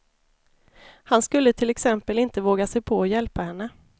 Han skulle till exempel inte våga sig på att hjälpa henne.